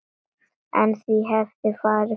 En því hefði farið fjarri.